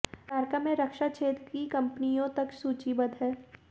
America में रक्षा क्षेत्र की कंपनियों तक सूचीबद्ध हैं